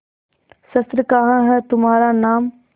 शस्त्र कहाँ है तुम्हारा नाम